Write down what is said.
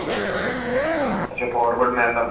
ਅੱਛਾ forward man